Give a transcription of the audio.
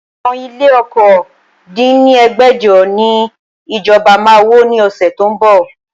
Àwọn ilé okòó dín ní ẹgbẹ́jọ ni ìjọba máa wó ni ọ̀sẹ̀ tó ń bọ̀